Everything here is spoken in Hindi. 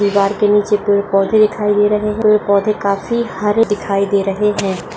दीवार के नीचे पेड़-पौधे दिखाई दे रहे है पेड़-पौधे काफी हारे दिखाई दे रहे है।